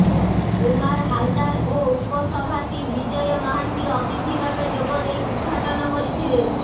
କୁମାର ହାଲଦାର ଓ ଉପସଭାତି ବିଜୟ ମହାନ୍ତି ଅତିଥି ଭାବେ ଯୋଗ ଦେଇ ଉଦ୍ଗାଟନ କରିଥିଲେ